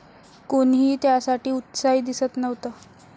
कोणीही त्यासाठी उत्साही दिसत नव्हतं.